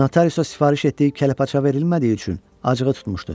Notariusa sifariş etdiyi kəlləpaça verilmədiyi üçün acığı tutmuşdu.